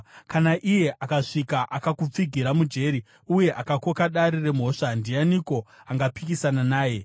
“Kana iye akasvika akakupfigira mujeri uye akakoka dare remhosva, ndianiko angapikisana naye?